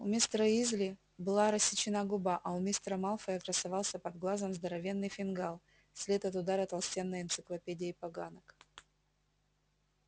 у мистера уизли была рассечена губа а у мистера малфоя красовался под глазом здоровенный фингал след от удара толстенной энциклопедией поганок